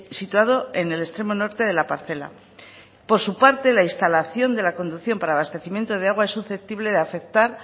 situado en el extremo norte de la parcela por su parte la instalación de la conducción para abastecimiento de agua es susceptible de afectar